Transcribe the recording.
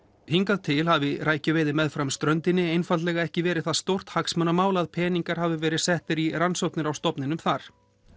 hingað til hafi rækjuveiði meðfram ströndinni einfaldlega ekki verið það stórt hagsmunamál að peningar hafi verið settir í rannsóknir á stofninum þar